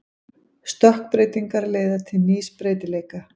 Stökkbreytingar leiða til nýs breytileika.